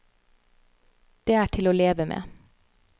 Det er til å leve med.